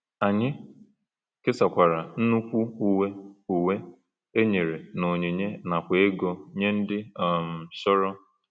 Anyị kesakwara nnukwu uwe uwe e nyere n’onyinye nakwa ego nye ndị um chọrọ.